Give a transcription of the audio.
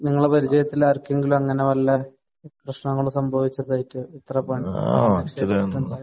നിങ്ങളുടെ പരിചയത്തിലാർക്കെങ്കിലും അങ്ങനെ വല്ല പ്രശ്നങ്ങളും സംഭവിച്ചതായിട്ട് ഇത്ര